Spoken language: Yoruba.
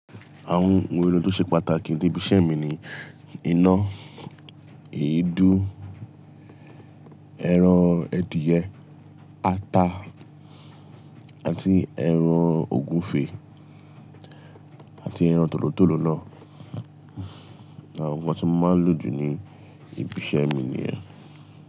Àwọn ohun èlò tó ṣe pàtàkì ní ibi iṣẹ́ mi ni iná, èédú, ẹran adìẹ, ata àti ẹran ògúnfe àti ẹran tòlótòló náà. Àwọn nǹkan tí wọ́n máa lò jù ní ibi iṣẹ́ mi ni yen.